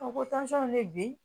A ko ko tansɔn ne bi